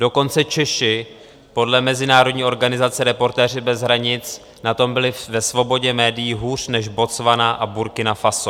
Dokonce Češi podle mezinárodní organizace Reportéři bez hranic na tom byli ve svobodě médií hůř než Botswana a Burkina Faso.